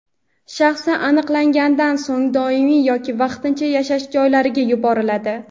shaxsi aniqlangandan so‘ng doimiy yoki vaqtincha yashash joylariga yuboriladi.